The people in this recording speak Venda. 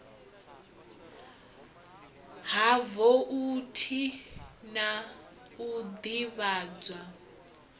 ha voutu na u ḓivhadzwa